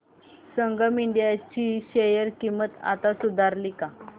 संगम India ची share किंमत आता सुधारली का